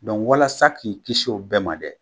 Donku walasa k'i kisi o bɛɛ ma dɛ.